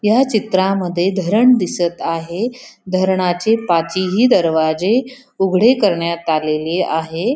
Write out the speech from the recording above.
या चित्रामध्ये धरण दिसत आहे धरणाचे पाचही दरवाजे उघडे करण्यात आलेले आहे.